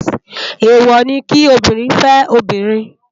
Éwò ni ki óbìrín fè óbìrín